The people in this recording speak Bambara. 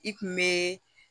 I kun be